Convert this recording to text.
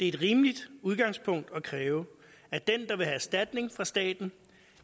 et rimeligt udgangspunkt at kræve at den der vil have erstatning fra staten